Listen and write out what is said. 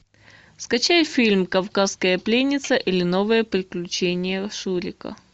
скачай фильм кавказская пленница или новые приключения шурика